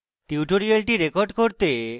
tutorial record করতে